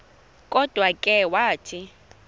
kodwa ke wathi